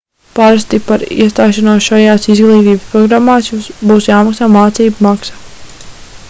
parasti par iestāšanos šajās izglītības programmās būs jāmaksā mācību maksa